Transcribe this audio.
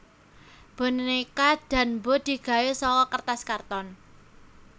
Bonéka Danbo digawé saka kertas karton